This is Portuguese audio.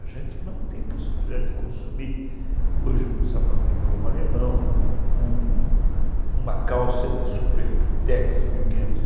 A gente não tem possibilidade de consumir hoje um sapato de cromo alemão, uma calça de Super Pitex mil quinhentos e,